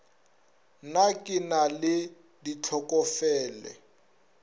na ke na le ditlhokofele